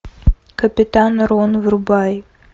капитан рон врубай